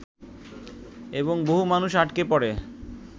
এবং বহু মানুষ আটকে পড়ে